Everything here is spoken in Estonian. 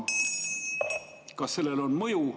Kas sellel on mõju?